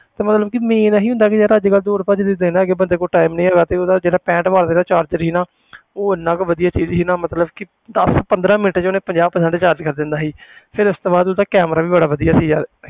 ਤੇ ਮਤਲਬ ਕਿ main ਇਹੀ ਹੁੰਦਾ ਵੀ ਯਾਰ ਅੱਜ ਕੱਲ੍ਹ ਦੌੜ੍ਹ ਭੱਜ ਦੇ ਦਿਨ ਹੈਗੇ ਬੰਦੇ ਕੋਲ time ਨੀ ਹੈਗਾ ਤੇ ਉਹਦਾ ਜਿਹੜਾ ਪੈਂਹਠ ਦਾ charger ਸੀ ਨਾ ਉਹ ਇੰਨਾ ਕੁ ਵਧੀਆ ਚੀਜ਼ ਸੀ ਨਾ ਮਤਲਬ ਕਿ ਦਸ ਪੰਦਰਾਂ ਮਿੰਟ 'ਚ ਉਹਨੇ ਪੰਜਾਹ percent charge ਕਰ ਦਿੰਦਾ ਸੀ ਫਿਰ ਉਸ ਤੋਂ ਬਾਅਦ ਉਹਦਾ camera ਵੀ ਬੜਾ ਵਧੀਆ ਸੀ ਯਾਰ